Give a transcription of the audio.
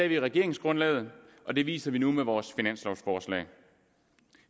vi i regeringsgrundlaget og det viser vi nu med vores finanslovforslag